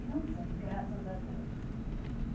E não foi, graças a Deus.